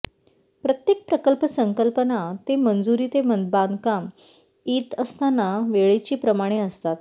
प्रत्येक प्रकल्प संकल्पना ते मंजूरी ते बांधकाम इ इ त असताना वेळेची प्रमाणे असतात